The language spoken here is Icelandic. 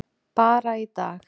Bara í dag.